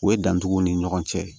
O ye dancogo ni ɲɔgɔn cɛ